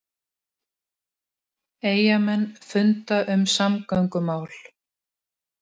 Eyjamenn funda um samgöngumál